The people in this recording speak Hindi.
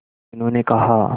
मीनू ने कहा